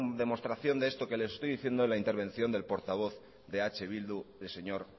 demostración de esto que les estoy diciendo en la intervención del portavoz de eh bildu el señor